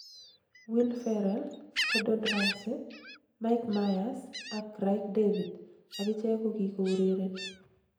Will Ferrell, Gordon Ramsay, Mike Myers, ak Craig David akicheg kokikourereni.